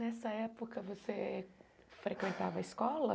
Nessa época você frequentava a escola?